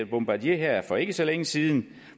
bombardier for ikke så længe siden